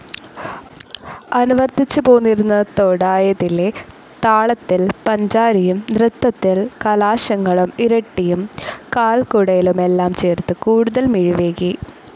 അനുവർത്തിച്ചുപോന്നിരുന്ന തോടായതിലെ താളത്തിൽ പഞ്ചാരിയും നൃത്തത്തിൽ കലാശങ്ങളും ഇരട്ടിയും കാൽകുടയലുമെല്ലാം ചേർത്ത് കൂടുതൽ മിഴിവേകി.